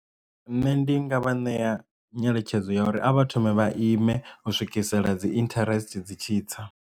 Nṋe ndi nga vha ṋea nyeletshedzo ya uri a vha thome vha ime u swikisela dzi interest dzi tshitsa.